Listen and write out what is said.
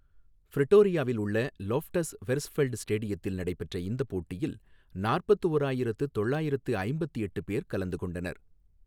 பிரிட்டோரியாவில் உள்ள Loftus Versfeld ஸ்டேடியத்தில் நடைபெற்ற இந்த போட்டியில் நாற்பத்து ஓராயிரத்து தொள்ளாயிரத்து ஐம்பத்து எட்டு பேர் கலந்து கொண்டனர்.